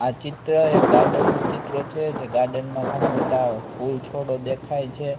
આ ચિત્ર એક ગાર્ડન નુ ચિત્ર છે જે ગાર્ડન મા ઘણા બધા ફૂલ છોડો દેખાઇ છે.